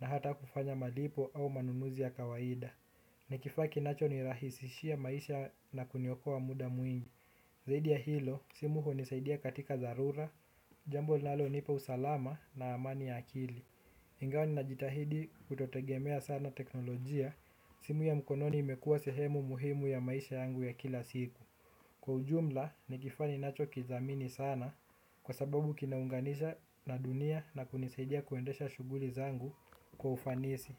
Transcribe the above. na hata kufanya malipo au manunuzi ya kawaida. Ni kifaa kinacho ni rahisishia maisha na kuniokoa muda mwingi. Zaidi ya hilo, simu hunisaidia katika dharura. Jambo linalo nipa usalama na amani ya akili ingawa ni najitahidi kutotegemea sana teknolojia. Simu ya mkononi imekua sehemu muhimu ya maisha yangu ya kila siku. Kwa ujumla, ni kifaa ninacho kidhamini sana. Kwa sababu kinaunganisha na dunia na kunisaidia kuendesha shughuli zangu kwa ufanisi.